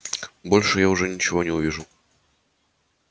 больше я уже ничего не увижу